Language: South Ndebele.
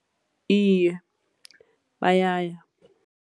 Iye, bayaya.